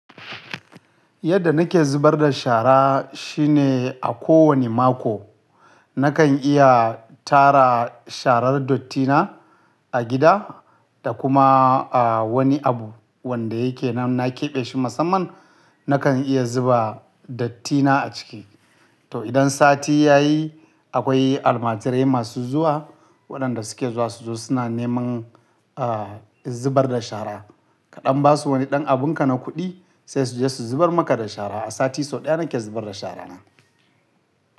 Yadda nake zubar da shara shine a kowane mako nakan iya tara sharar dottina a gida da kuma wani abu wanda yake nam na keɓe shi musamman nakan iya zuba dattina a ciki. To idan sati ya yi akwai almajirai masu zuwa waɗanda suke zuwa su zo suna neman ah zubar da shara. Kaɗan basu wani ɗan abunka na kuɗi sai su je su zubar maka da shara. A sati sau ɗaya nake zubar da shara na.